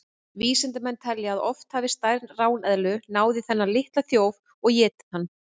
Vísindamenn telja að oft hafi stærri ráneðlur náð í þennan litla þjóf og étið hann.